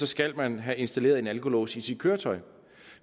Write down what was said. skal man have installeret en alkolås i sit køretøj